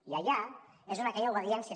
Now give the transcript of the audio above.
i allà és on aquella obediència